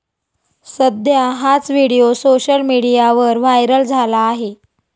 सध्या हाच video social मीडियावर व्हायरल झाला आहे.